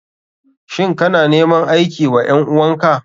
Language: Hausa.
Shin kana neman aiki wa ƴan uwan ka?